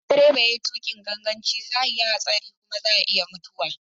Idan direba ya yi tuƙin ganganci zai yi hatsari kuma za a iya mutuwa.